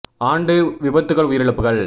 ஆண்டு விபத்துகள் உயிரிழப்புகள்